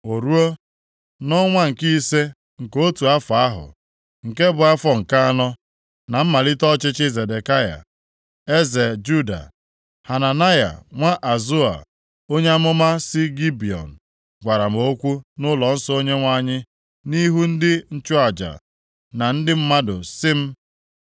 O ruo, nʼọnwa nke ise nke otu afọ ahụ, nke bụ afọ nke anọ, na mmalite ọchịchị Zedekaya eze Juda, Hananaya, nwa Azoa, onye amụma si Gibiọn, gwara m okwu nʼụlọnsọ Onyenwe anyị nʼihu ndị nchụaja na ndị mmadụ si m.